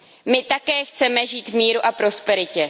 My také chceme žít v míru a prosperitě.